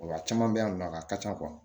Wa a caman bɛ yan nɔ a ka ca